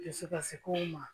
Dusu kasi kow ma